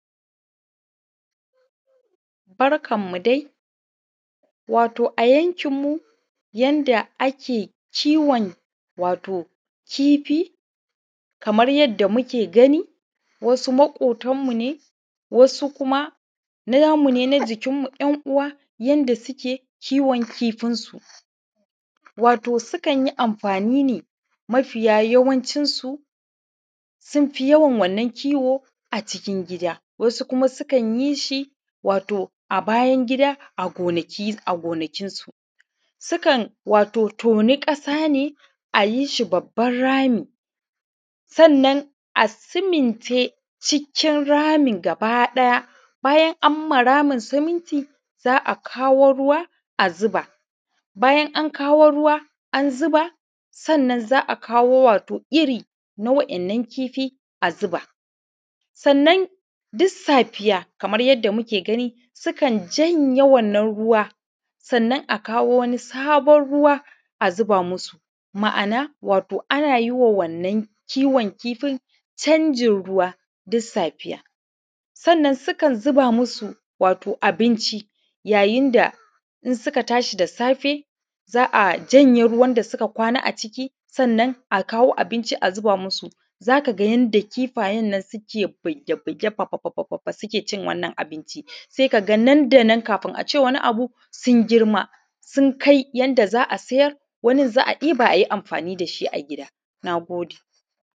Barkan mu dai wato a yankin mu yanda ake kiwon wato kifi, kamar yadda muke gani wasu maƙotan mu ne wasu kuma namu ne na jikin mu ‘yan’ uwa yadda suke kiwon kifin su. wato su kanyi amfani ne mafiya yawancin su sunfi yawan wannan kiwo a cikin gida wasu kuma sukan wato a bayan gida a gonaki a ƙasa gonakin su. sukan wato ƙasa ne ayi babban rami sannan a siminte cikin ramin gaba ɗaya bayan amma ramin siminti za’a kawo ruwa a zuba bayan an kawo ruwa an zuba sannan za’a kawo wato irri na waɗannan kifi a zuba sannan duk safiya Kaman yanda muke gani, sukan janye wannan ruwa sannan a kawo wani sabon ruwa a zuba musu ma’ana wato ana yiwa wannan kiwon kifin canjin ruwa dusafiya. Sannan sukan zuba musu wato abinci ya yinda in suka tashi da safe za’a janye ruwan da suka kwana a ciki sannan a kawo abinci a zuba musu zaka yanda kifayen nan suke buge buge baba baba baba sukecin wannan abinci sai kaga nan da nan kafin ace wani abu sun girma sun kai yanda za’a siyar wani za’a ɗiba ayi amfani dashi a gida. Nagode